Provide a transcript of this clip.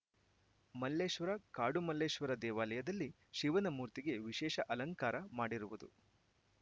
ಮಲ್ಲೇಶ್ವರ ಕಾಡುಮಲ್ಲೇಶ್ವರ ದೇವಾಲಯದಲ್ಲಿ ಶಿವನ ಮೂರ್ತಿಗೆ ವಿಶೇಷ ಅಲಂಕಾರ ಮಾಡಿರುವುದು